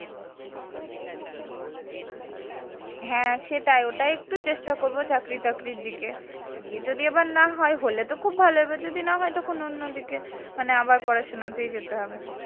হ্যাঁ সেটাই। ওটা একটু চেষ্টা করবো চাকরি টাকরির দিকে গিয়ে যদি এবার না হয় হলে তো খুব ভালো এবার যদি না হয় তাহলে অন্য দিকে মানে আবার পড়াশোনাতেই যেতে হবে।